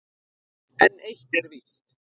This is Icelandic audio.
En eitt er víst